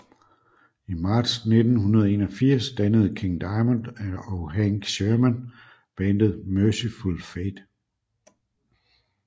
I marts 1981 dannede King Diamond og Hank Shermann bandet Mercyful Fate